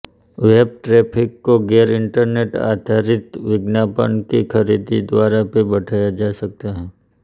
web traffic को गैर internet आधारित विज्ञापन की खरीद द्वारा भी बढ़ाया जा सकता है